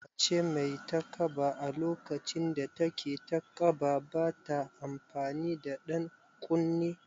Mace mai takaba a lokacin da take taƙaba bata amfani da ɗan ƙunne